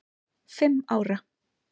fimm ára.